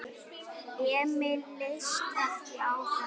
Emil leist ekki á þetta.